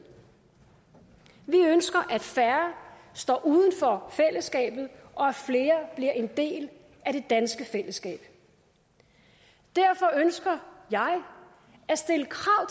vi ønsker at færre står uden for fællesskabet og at flere bliver en del af det danske fællesskab derfor ønsker jeg at stille krav